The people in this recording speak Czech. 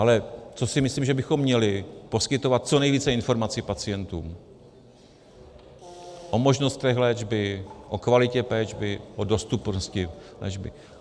Ale co si myslím, že bychom měli - poskytovat co nejvíce informací pacientům o možnostech léčby, o kvalitě léčby, o dostupnosti léčby.